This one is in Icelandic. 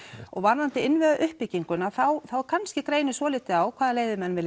og varðandi innviða uppbygginguna þá kannski greinir svolítið á hvaða leið menn vilja